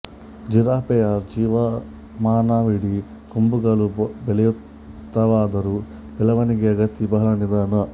ಜಿರಾಫೆಯ ಜೀವಮಾನವಿಡೀ ಕೊಂಬುಗಳು ಬೆಳೆಯುತ್ತವಾದರೂ ಬೆಳೆವಣಿಗೆಯ ಗತಿ ಬಹಳ ನಿಧಾನ